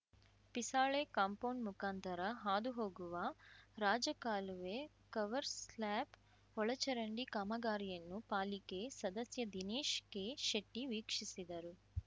Pisale compound ಮುಖಾಂತರ ಹಾದು ಹೋಗುವ ರಾಜ ಕಾಲುವೆ ಕವರ್ಸ್‌ ಸ್ಲಾಬ್‌ ಒಳಚರಂಡಿ ಕಾಮಗಾರಿಯನ್ನು ಪಾಲಿಕೆ ಸದಸ್ಯ ದಿನೇಶ್ ಕೆಶೆಟ್ಟಿವೀಕ್ಷಿಸಿದರು